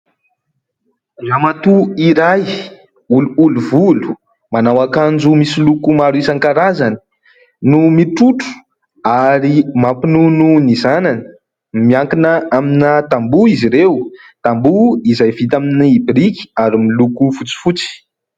Ramatoa iray olioly volo, manao akanjo misy loko maro isankarazany no mitrotro ary mampinono ny zanany, miankina amina tamboha izy ireo : tamboha izay vita amin'ny biriky ary miloko fotsifotsy.